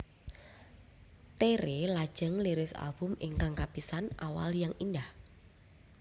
Tere lajeng ngliris album ingkang kapisan Awal yang Indah